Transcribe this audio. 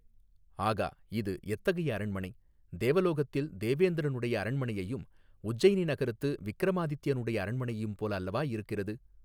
ஆகா இது எத்தகைய அரண்மனை தேவலோகத்தில் தேவேந்திரனுடைய அரண்மனையையும் உஜ்ஜயினி நகரத்து விக்ரமாதித்யனுடைய அரண்மனையும் போல அல்லவா இருக்கிறது.